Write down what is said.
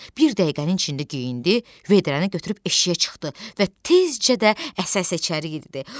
Bir dəqiqənin içində geyindi, vedrəni götürüb eşiyə çıxdı və tezcə də əsə-əsə içəri girdi.